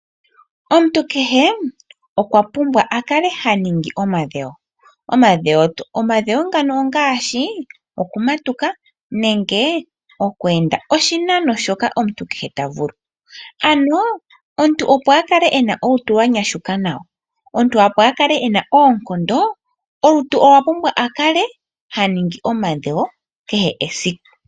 Omuntu kehe okwapumbwa akale haningi omadhewo . Omadhewo ngano ongaashi okumatuka nenge oku enda oshinano shoka omuntu kehe tavulu. Omuntu opo akale ena olutu lwa nyashuka nawa, omuntu opo akale ena oonkondo olutu olwapumbwa akale ha ningi omadhewo kehe esiku